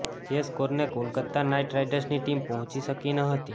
જે સ્કોરને કોલકત્તા નાઇટ રાઇડર્સની ટીમ પહોંચી શકી ન હતી